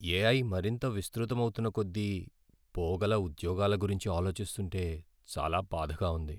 AI మరింత విస్తృతమవుతున్న కొద్దీ, పోగల ఉద్యోగాల గురించి ఆలోచిస్తుంటే చాలా బాధగా ఉంది.